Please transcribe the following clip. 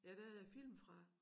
Ja der er æ film fra